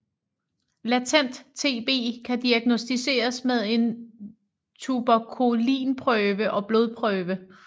Latent TB kan diagnosticeres med en tuberkulinprøve og blodprøver